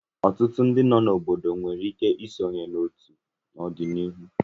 Ọtụtụ ndị nọ n'obodo nwere ike isonye n'otu n'ọdịnihu.